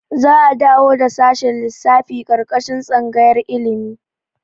Za'a dawo da shashin lissafi ƙarƙashin tsangayar ilimi.